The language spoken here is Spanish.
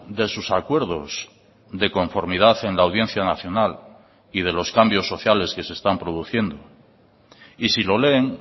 de sus acuerdos de conformidad en la audiencia nacional y de los cambios sociales que se están produciendo y si lo leen